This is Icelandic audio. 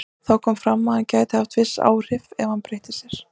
Þó kom fram að hann gæti haft viss áhrif ef hann beitti sér.